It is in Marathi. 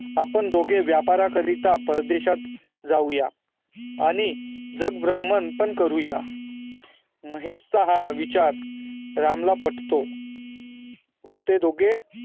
आपण दोघं व्यापारा करिता आपणं परदेशात जाऊया आणि जग ब्रम्हण पण करूया महेश चा हा विचार राम ला पटतो व ते दोघेही